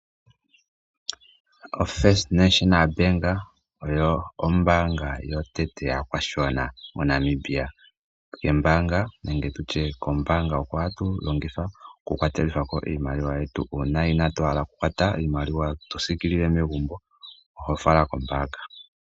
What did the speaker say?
OFirst National Bank oyo ombaanga yotango yopashigwana moNamibia. Ombaanga oyo hatu longitha okukwatela ko iimaliwa yetu uuna inaatu hala okukwata iimaliwa toyi siikilila megumbo, oho fala kombaanga.